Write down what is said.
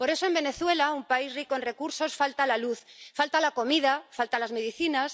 Por eso, en Venezuela, un país rico en recursos, falta la luz, falta la comida, faltan las medicinas.